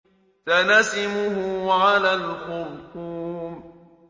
سَنَسِمُهُ عَلَى الْخُرْطُومِ